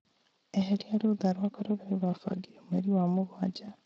eheria rũũtha rwakwa rũrĩa rũbangĩirwo mweri wa mũgwanja